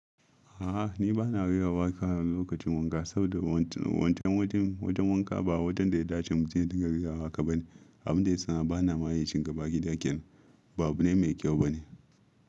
A'a ni bana rera waka lokacin wanka saboda wancan wajen, wajen wanka ba wajen da ya dace mutum ya dinga rera waƙa ba ne. Abin da yasa bana ma yin shi ga bayan gida kenan ba abu ne mai kyau bane.